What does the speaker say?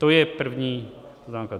To je první poznámka.